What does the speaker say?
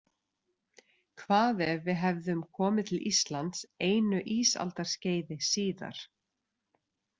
Hvað ef við hefðum komið til Íslands einu ísaldarskeiði síðar.